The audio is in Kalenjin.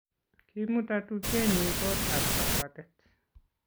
Kimuta tupchenyu kot ab kapbwatet